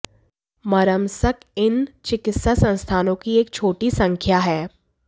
Murmansk इन चिकित्सा संस्थानों की एक छोटी संख्या है